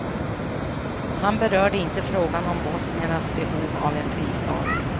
Han berörde inte frågan om bosniernas behov av en fristad.